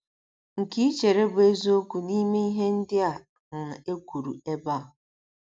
nke i chere bụ́ eziokwu n’ime ihe ndị a um e kwuru ebe a?